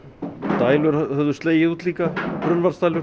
dælur höfðu slegið út líka